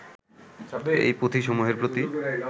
এই পুঁথিসমুহের প্রতি